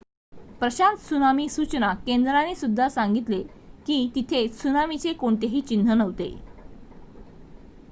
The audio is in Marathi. प्रशांत त्सुनामी सूचना केंद्राने सुद्धा सांगितले की तिथे त्सुनामीचे कोणतेही चिन्ह नव्हते